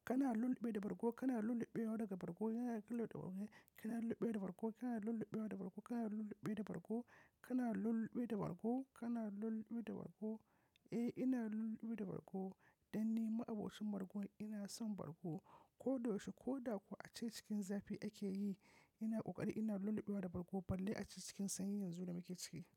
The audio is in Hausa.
Kana lulluɓe da bargo? Kana lulluɓe wada bargo? Kana lulluɓe da bargo? Kana lulluɓe wada bargo? Kana lulluɓe da bargo? Kana lulluɓe da bargo? Kana lulluɓe da bargo? Eh, ina lulluɓe da bargo. Dan ni ma'abocin bargo. Ina son bargo. Ko da yaushe ko da kuwa ace cikin zafi ake yi, ina ƙoƙari ina lulluɓe da bargo balle a cikin sanyi yanzu da muke ciki.